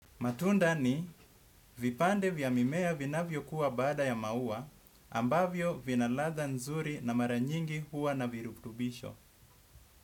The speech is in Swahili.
Matunda ni vipande vya mimea vinavyokuwa baada ya maua ambavyo vina ladha nzuri na mara nyingi huwa na virutubisho.